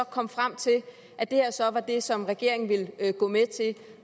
kom frem til at det her så var det som regeringen ville gå med til